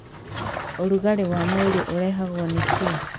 Ũrugarĩ wa mwĩrĩ ũrehagwo nĩ kĩ?